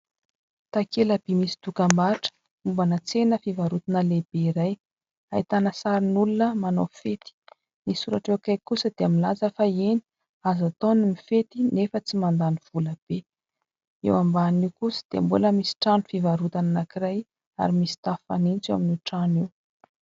Takela-by misy dokam-barotra, mombana tsena fivarotana lehibe iray. Ahitana sarin'olona manao fety, ny soratra eo akaiky kosa dia milaza fa eny azo atao ny mifety nefa tsy mandany vola be. Eo ambanin'io kosa dia mbola misy trano fivarotana anankiray ary misy tafo fanitso eo amin'io trano io.